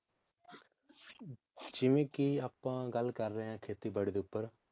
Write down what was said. ਜਿਵੇ ਕਿ ਆਪਾਂ ਗੱਲ ਕਰ ਰਹੇ ਹਾਂ ਖੇਤੀ ਬਾੜੀ ਦੇ ਉਪਰ